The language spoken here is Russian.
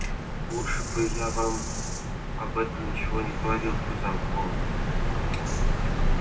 лучше бы я вам об этом ничего не говорил сказал он